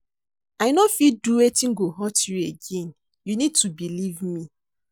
I no fit do wetin go hurt you again, you need to believe me.